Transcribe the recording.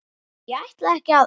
Ég ætlaði ekki að.